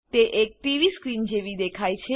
તે એક TV screen જેવી દેખાય છે